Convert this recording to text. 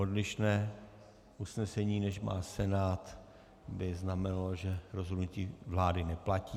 Odlišné usnesení, než má Senát, by znamenalo, že rozhodnutí vlády neplatí.